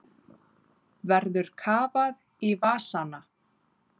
Verður kafað í vasana